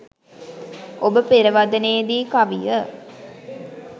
ඔබ පෙරවදනේ දී කවිය